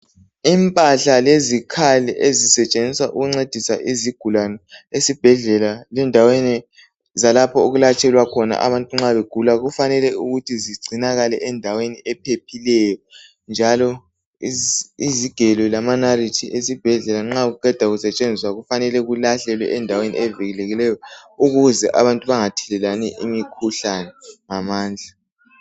Impahla lezikhali ezisetshenziswa ukuncedisa izigulane esibhedlela lendaweni zalapho okulatshelwa khona nxa begula kufanele ukuthi zigcinakale endaweni ephephileyo njalo izigelo lamanalithi esibhedlela nxa kuqeda kusetshenziswa kufanele kulahlelwe endaweni evikelekileyo ukuze abantu bengathelelani imikhuhlane ngamandla